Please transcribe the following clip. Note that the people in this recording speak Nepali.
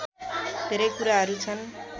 धेरै कुराहरू छन्